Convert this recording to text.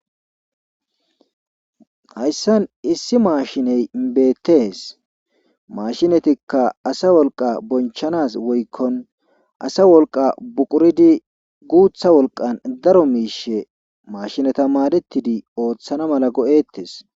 hayssan issi maashiney beettees mashinatikka asa wolqa bonchanas woykkon asa wolqa buquridi guutha wolqan daro miishe mashinata maadetidi ooththana mala go7ettes